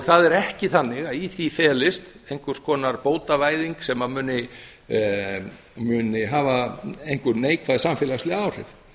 það er ekki þannig að í því felist einhvers konar bótavæðing sem muni hafa einhver neikvæð samfélagsleg áhrif